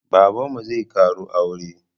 Babanmu zai ƙaro aure